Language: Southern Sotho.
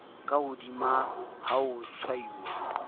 ka hodimo ha ho tshwauwa